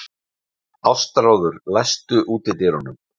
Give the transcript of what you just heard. Ástráður, læstu útidyrunum.